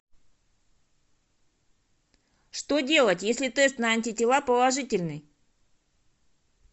что делать если тест на антитела положительный